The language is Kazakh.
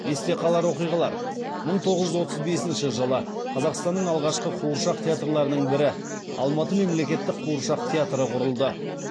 есте қалар оқиғалар мың тоғыз жүз отыз бесінші жылы қазақстанның алғашқы қуыршақ театрларының бірі алматы мемлекеттік қуыршақ театры құрылды